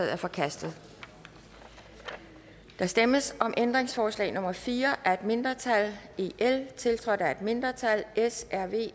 er forkastet der stemmes om ændringsforslag nummer fire af et mindretal tiltrådt af et mindretal